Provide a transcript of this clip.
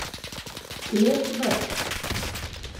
Lep vrt.